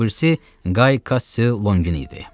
O birisi Qay Kassi Lonqin idi.